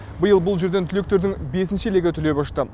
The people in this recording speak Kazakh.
биыл бұл жерден түлектердің бесінші легі түлеп ұшты